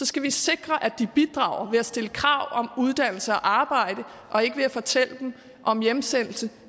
skal vi sikre at de bidrager ved stille krav om uddannelse og arbejde og ikke ved at fortælle dem om hjemsendelse